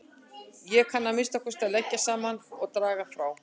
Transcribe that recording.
Ég kann að minnsta kosti að leggja saman og draga frá